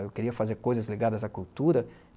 Eu queria fazer coisas ligadas à cultura.